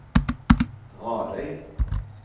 Radøy